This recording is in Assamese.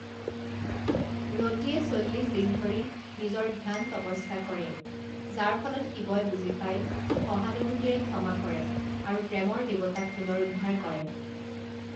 ৰতিয়ে চল্লিশ দিনধৰি নিজৰ ধ্যান তপস্যা কৰে, যাৰ ফলত শিৱই বুজি পায়, সহানুভূতিৰে ক্ষমা কৰে আৰু প্ৰেমৰ দেৱতাক পুনৰুদ্ধাৰ কৰে।